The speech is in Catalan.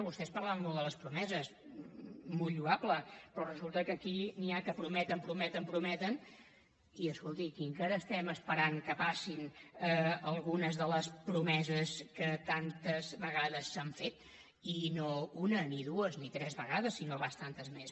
vostès parlen molt de les promeses molt lloable però resulta que aquí n’hi ha que prometen prometen prometen i escolti aquí encara estem esperant que passin algunes de les promeses que tantes vegades s’han fet i no una ni dues ni tres vegades sinó bastantes més